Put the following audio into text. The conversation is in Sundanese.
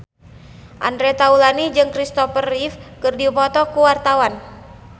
Andre Taulany jeung Kristopher Reeve keur dipoto ku wartawan